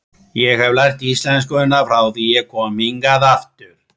Ég hef lært íslenskuna frá því ég kom hingað aftur.